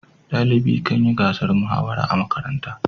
dalibi Kan yi gasar muhawara a makaranta